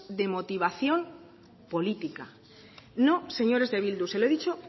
de motivación política no señores de bildu se lo he dicho